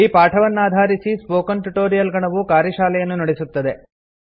ಈ ಪಾಠವನ್ನಾಧಾರಿಸಿ spoken tutorial ಗಣವು ಕಾರ್ಯಶಾಲೆಯನ್ನು ನಡೆಸುತ್ತದೆ